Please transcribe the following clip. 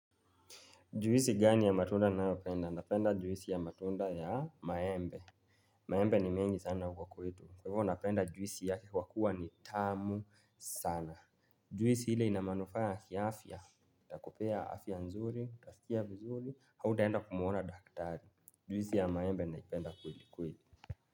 Juisi gani ya matunda ninayopenda? Napenda juisi ya matunda ya maembe. Maembe ni mengi sana huko kwetu. Kwa hivyo napenda juisi yake kwa kuwa ni tamu sana. Juisi ile ina manufaa ya kiafya. Itakupea afya nzuri, utasikia vizuri, hautaenda kumwona daktari. Juisi ya maembe naipenda kwelikweli.